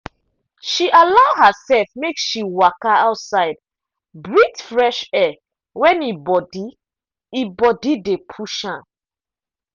she allow herself make she waka outside breathe fresh air when e body e body dey push am